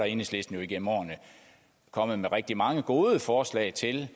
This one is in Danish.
enhedslisten jo igennem årene kommet med rigtig mange gode forslag til